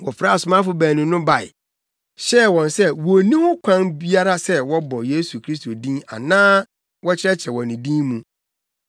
Wɔfrɛɛ asomafo baanu yi bae, hyɛɛ wɔn sɛ wonni ho kwan biara sɛ wɔbɔ Yesu Kristo din anaa wɔkyerɛkyerɛ wɔ ne din mu.